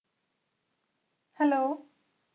Hello